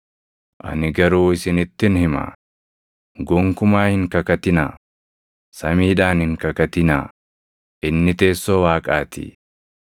Ani garuu isinittin hima; gonkumaa hin kakatinaa: samiidhaan hin kakatinaa; inni teessoo Waaqaatii;